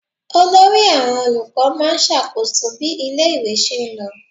Olórí àwọn olùkọ́ máa ń ṣàkóso bí ilé-ìwé ṣe lọ.